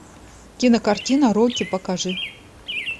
кинокартина рокки покажи